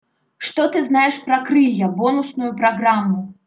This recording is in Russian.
что ты знаешь про крылья бонусную программу